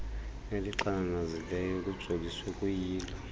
elixananazileyo kujoliswe kuyilo